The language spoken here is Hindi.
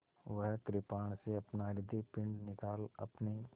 वह कृपाण से अपना हृदयपिंड निकाल अपने